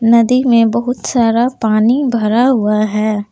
नदी में बहुत सारा पानी भरा हुआ है।